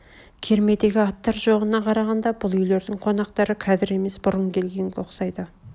кермедегі аттар жоғына қарағанда бұл үйлердің қонақтары қазір емес бұрын келгенге ұқсайды